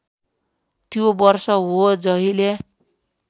त्यो वर्ष हो जहिले